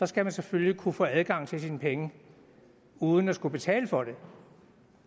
skal man selvfølgelig kunne få adgang til sine penge uden at skulle betale for det